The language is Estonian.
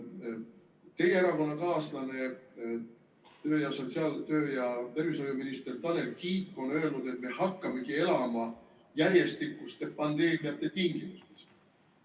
Teie erakonnakaaslane, töö- ja tervishoiuminister Tanel Kiik on öelnud, et me hakkamegi elama järjestikuste pandeemiate tingimustes.